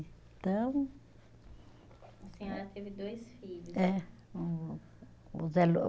Então. A senhora teve dois filhos. É o